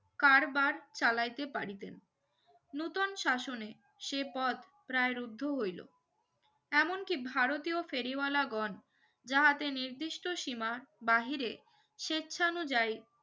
কারবার চালাইতে পারিতেন নতুন শাসনে সে পথ প্রায় রুদ্ধ হইলো এমন কি ভারতীয় ফেরিওয়ালাগন যাহাতে নিদিষ্ট সিমা বাহিরে সেচ্ছাঅনুযায়ী